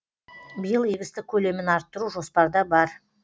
биыл егістік көлемін арттыру жоспарда бар